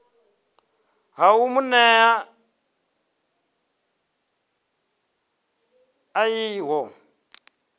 ha u mu nea ḽivi